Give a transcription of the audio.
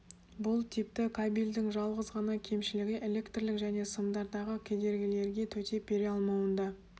бұл типті кабельдің жалғыз ғана кемшілігі электрлік және сымдардағы кедергілерге төтеп бере алмауында